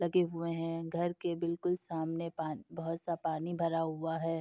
लगे हुए हैं। घर के बिल्कुल सामने पा बहुत सा पानी भरा हुआ है।